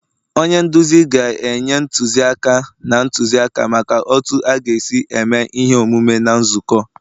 onye nduzi ga-enye ntụziaka na ntụzịaka maka otu a ga-esi eme ihe omume na nzukọ